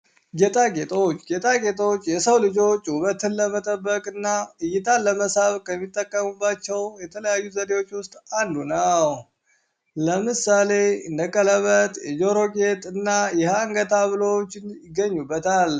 ጌጣጌጦች ጌጣጌጦች የሰው ልጆች ውበትን ለመጠበቅ እና እይታን ለመሳብ ከሚጠቀሙባቸው የተለያዩ ዘዴዎች ውስጥ አንዱ ነው። ለምሳሌ እንደ ቀለበጥ፣ የጀሮ ጌጥ እና የአንገት ሀብሎች ይገኙበታል።